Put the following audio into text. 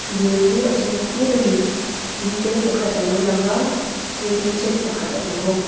dil chu a hring phut a ni in te pakhat a lo lang a waiting shed pakhat a awm bawk.